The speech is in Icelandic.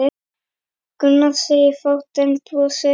Gunnar segir fátt en brosir.